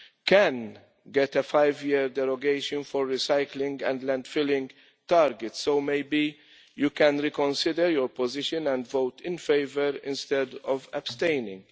can get a five year derogation for recycling and landfilling targets, so maybe she can reconsider your position and vote in favour instead of abstaining.